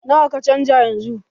Nawa ka canja yanzu?